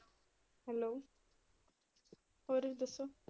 Hello ਹੋਰ ਦੱਸੋ?